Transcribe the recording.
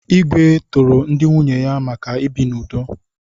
Igwe toro ndị nwunye ya maka ibi n'udo.